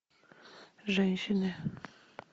женщины